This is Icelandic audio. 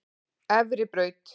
Efribraut